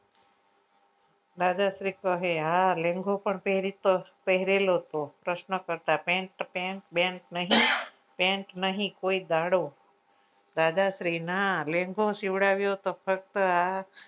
દાદાશ્રી કહે હા લેન્ગો પણ પેરેલો હતો પ્રશ્ન કરતા pent pent pent નહી કોઈ દાડો દાદાશ્રી ના લેન્ગો સીવડાવ્યો હતો ફક્ત આ